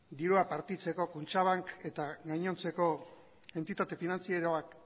dirua partitzeko kutxabank eta gainontzeko entitate finantzieroak